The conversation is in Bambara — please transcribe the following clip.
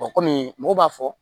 kɔmi mɔgɔ b'a fɔ